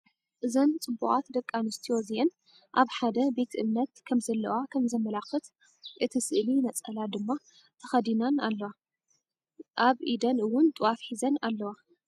እዘን ፅቡቃት ደቂ ኣነስትዮ እዚአን ኣብ ሓደ ቤት እምነት ከም ዘለዋ ከም ዘመላክት እቲ ስእሊ ነፀላ ድማ ተከዲናን ኣለዋ። ኣብ ኢደን እውን ጥዋፍ ሒዘን ኣለዋ።